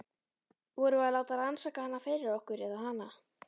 Vorum við að láta rannsaka hana fyrir okkur- eða hana?